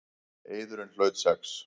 Eiðurinn hlaut sex.